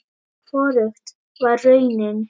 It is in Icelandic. Hvorugt var raunin.